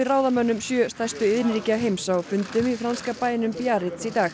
ráðamönnum sjö stærstu iðnríkja heims á fundum í franska bænum Biarritz í dag